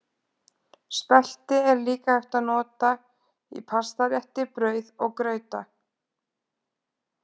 Spelti er líka hægt að nota í pastarétti, brauð og grauta.